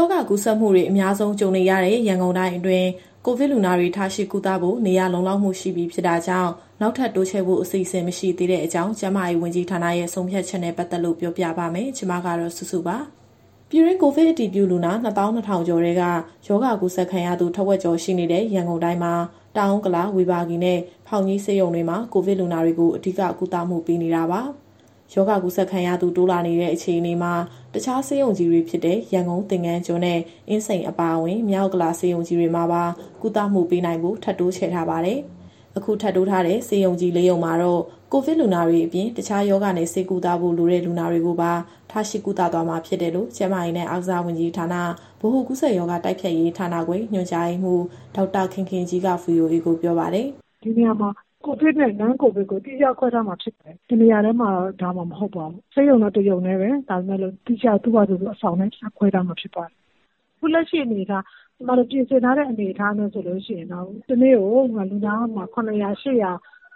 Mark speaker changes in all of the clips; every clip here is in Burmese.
Speaker 1: ောဂါ ကူးစက်မှုတွေ အများဆုံးကြုံနေရတဲ့ ရန်ကုန်တိုင်းအတွင်း ကိုဗစ်လူနာတွေကို ထားရှိကုသဖို့ နေရာလုံလောက်မှု ရှိပြီဖြစ်တာကြောင့် နောက်ထပ် တိုးချဲ့ဖို့ အစီအစဉ်မရှိသေးကြောင်း ကျန်းမာရေးဝန်ကြီးဌာနရဲ့ ဆုံးဖြတ်ချက်နဲ့ ပတ်သက်လို့ပြောပြပါမယ်။ ဒီသတင်းကို ဗွီအိုအေမြန်မာပိုင်း သတင်းထောက် မစုစုက တင်ဆက်ပေးမှာပါ။ ပြည်တွင်း ကိုဗစ်အတည်ပြုလူနာ ၂၂,၀၀၀ ကျော်ထဲက ရောဂါကူးစက်ခံရသူ ထက်ဝက်ကျော်ရှိနေတဲ့ ရန်ကုန်တိုင်းမှာ တောင်ဥက္ကလာ၊ ဝေဘာဂီနဲ့ ဖောင်ကြီးဆေးရုံတွေမှာ ကိုဗစ်လူနာတွေကို အဓိကကုသမှုပေးနေတာပါ။ ရောဂါကူးစက်ခံရသူ တိုးလာနေတဲ့အခြေအနေမှာ တခြားဆေးရုံကြီးတွေဖြစ်တဲ့ ရန်ကုန်၊ သင်္ဃန်းကျွန်းနဲ့ အင်းစိန်အပါအဝင်၊ မြောက်ဥက္ကလာဆေးရုံကြီးတွေမှာပါ ကုသမှုပေးနိုင်ဖို့ ထပ်တိုးချဲ့ထားပါတယ်။ အခုထပ်တိုးထားတဲ့ ဆေးရုံကြီး ၄ ရုံမှာတော့ ကိုဗစ်လူနာတွေအပြင် တခြားရောဂါနဲ့ ဆေးကုသဖို့လိုတဲ့ လူနာတွေကိုပါ ထားရှိသွားမှာဖြစ်တယ်လို့ ကျန်းမာရေးနဲ့အားကစားဝန်ကြီးဌာန၊ ဗဟိုကူးစက်ရောဂါတိုက်ဖျက်ရေးဌာနခွဲ ညွှန်ကြားရေးမှူး ဒေါက်တာခင်ခင်ကြီးက VOA ကိုပြောပါတယ်။
Speaker 2: “ဒီနေရာမှာ COVID နဲ့ Non-COVID ကို သီးခြားခွဲထားမှာဖြစ်ပါတယ်။ တနေရာတည်းမှာ ထားမှာမဟုတ်ပါဘူး။ ဆေးရုံတော့ တရုံတည်းပဲ၊ ဒါပေမဲ့လို့ သူ့ဟာသူအဆောင်နဲ့ သီးခြားခွဲထားမှာဖြစ်ပါတယ်။ အခုလက်ရှိအနေအထား ကျမတို့ပြင်ဆင်ထားတဲ့ အနေအထားနဲ့ဆိုရင်တော့ တနေ့ကို လူနာ ၇၀၀ - ၈၀၀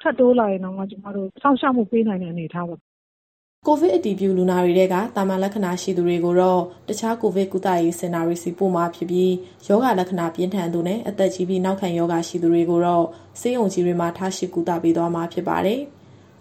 Speaker 2: ထပ်တိုးလာရင်တောင်မှ ကျမတို့စောင့်ရှောက်မှုပေးနိုင်တဲ့ အနေအထားပါ။”
Speaker 1: ကိုဗစ်အတည်ပြုလူနာတွေထဲက သာမန်လက္ခဏာရှိသူတွေကိုတော့ တခြားကိုဗစ်ကုသရေးစင်တာတွေဆီ ပို့မှာဖြစ်ပြီး၊ ရောဂါလက္ခဏာပြင်းထန်သူနဲ့ အသက်ကြီးပြီး နောက်ခံရောဂါရှိသူတွေကိုတော့ ဆေးရုံကြီးတွေမှာ ထားရှိကုသပေးသွားမှာဖြစ်ပါတယ်။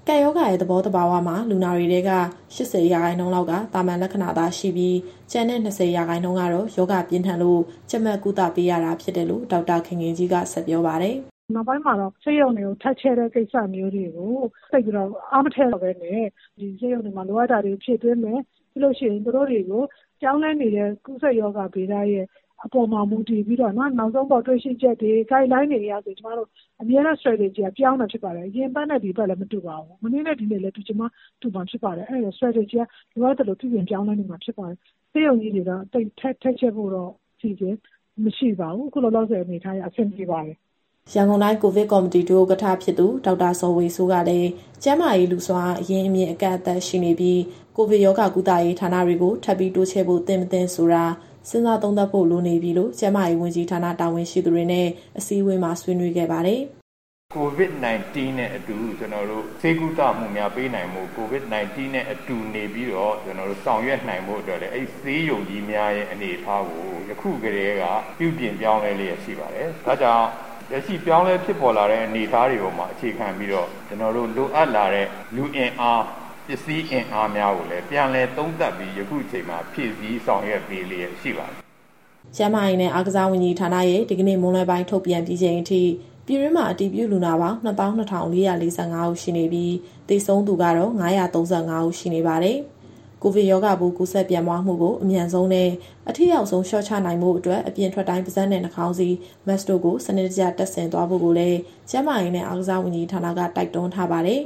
Speaker 1: ကပ်ရောဂါရဲ့သဘောသဘာဝမှာ လူနာတွေထဲက ၈၀ ရာခိုင်နှုန်းလောက်က သာမန်လက္ခဏာသာရှိပြီး၊ ကျန်တဲ့ ၂၀ ရာခိုင်နှုန်းကတော့ ရောဂါပြင်းထန်လို့ ကြပ်မတ်ကုသပေးရတာဖြစ်တယ်လို့ ဒေါက်တာခင်ခင်ကြီးက ဆက်ပြောပါတယ်။ “နောက်ပိုင်
Speaker 2: းမှာတော့ ဆေးရုံတွေထပ်ချဲ့တဲ့ ကိစ္စမျိုးတွေကို သိပ်ပြီးတော့ အားမထည့်တော့ပဲနဲ့ ဒီဆေးရုံတွေမှာလိုအပ်တာတွေ ဖြည့်သွင်းမယ်။ ပြီးလို့ရှိရင် သူတို့တွေကိုပြောင်းလဲနေတဲ့ ကူးစက်ရောဂါဗေဒရဲ့ အပေါ်မှာ မူတည်ပြီးတော့ နောက်ဆုံးပေါ်တွေ့ရှိချက်တွေ၊ Guideline တွေအရဆိုရင် ကျမတို့အမြဲတမ်း Strategy ကပြောင်းနေတာဖြစ်ပါတယ်။ အရင်အပတ်နဲ့ ဒီတပတ်လည်း မတူပါဘူး။ မနေ့နဲ့ ဒီနေ့လည်း တူချင်မှတူမှာ ဖြစ်ပါတယ်။ အဲဒီတော့ Strategy ကလိုအပ်သလို ပြုပြင်ပြောင်းလဲနေမှာဖြစ်ပါတယ်။ ဆေးရုံကြီးတွေက ထပ်ချဲ့ဖို့တော့အစီအစဉ် မရှိပါဘူး။ အခုလောလောဆယ် အနေအထားအရ အဆင်ပြေပါတယ်။
Speaker 1: ” ရန်ကုန်တိုင်းကိုဗစ်ကော်မတီ ဒုဥက္ကဋ္ဌ ဖြစ်သူ ဒေါက်တာဇော်ဝေစိုးကလည်း ကျန်းမာရေးလူ့ စွမ်းအားအရင်းအမြစ် အကန့်အသတ်ရှိနေပြီး၊ ကိုဗစ်ရောဂါကုသရေးဌာနတွေကို ထပ်ပြီးတိုးချဲ့ဖို့သင့်၊ မသင့်ဆိုတာ စဉ်းစားသုံးသပ်ဖို့လိုနေပြီလို့ ကျန်းမာရေးဝန်ကြီးဌာနတာဝန်ရှိသူတွေနဲ့ အစည်းအဝေးမှာ ဆွေးနွေးခဲ့ပါတယ်
Speaker 3: ။ “COVID- 19 နဲ့အတူ ကျနော်တို့ ဆေးကုသမှုများပေးနိုင်ဖို့၊ COVID- 19 နဲ့အတူနေပြီးတော့ ကျနော်တို့ဆောင်ရွက်နိုင်ဖို့အတွက်လည်း အဲဒီဆေးရုံကြီးများရဲ့အနေအထားကို ယခုကတည်းက ပြုပြင်ပြောင်းလဲလျက်ရှိပါတယ်။ ဒါ့ကြောင့် လက်ရှိပြောင်းလဲဖြစ်ပေါ်လာတဲ့ အနေအထားတွေပေါ်မှာ အခြေခံပြီးတော့ ကျနော်တို့လိုအပ်လာတဲ့ လူအင်အား၊ ပစ္စည်းအင်အားများကိုလည်း ပြန်လည်သုံးသပ်ပြီး ယခုအချိန်မှာဖြည့်ဆည်း ဆောင်ရွက်ပေးလျက်ရှိပါတယ်။
Speaker 1: ” ကျန်းမာရေးနဲ့ အားကစားဝန်ကြီးဌာနရဲ့ဒီကနေ့မွန်းလွဲပိုင်းထုတ်ပြန်ပြီးချိန်အထိ ပြည်တွင်းမှာအတည်ပြုလူနာပေါင်း ၂၂,၄၄၅ ဦးရှိနေပြီး၊ သေဆုံးသူကတော့ ၅၃၅ ဦးရှိနေပါတယ်။ ကိုဗစ်ရောဂါပိုး ကူးစက်ပြန့်ပွားမှုကို အမြန်ဆုံးနဲ့ အထိရောက်ဆုံး လျှော့ချနိုင်ဖို့အတွက် အပြင်ထွက်တိုင်း ပါးစပ်နဲ့နှာခေါင်းစည်း Mask တို့ကို စနစ်တကျတပ်ဆင်သွားဖို့ကိုလည်း ကျန်းမာရေးနဲ့ အားကစားဝန်ကြီးဌာနက တိုက်တွန်းထားပါတယ်။